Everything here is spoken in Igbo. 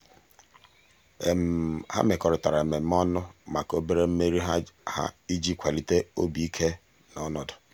ha mekọrịtara mmemme ọnụ maka obere mmeri ha iji kwalite obi ike na ọnọdụ.